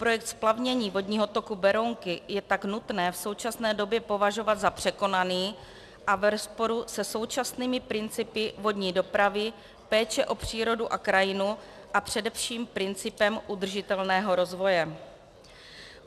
Projekt splavnění vodního toku Berounky je tak nutné v současné době považovat za překonaný a v rozporu se současnými principy vodní dopravy, péče o přírodu a krajinu a především principem udržitelného rozvoje.